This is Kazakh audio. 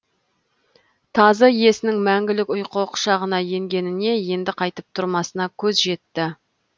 тазы иесінің мәңгілік ұйқы құшағына енгеніне енді қайтып тұрмасына көзі жетті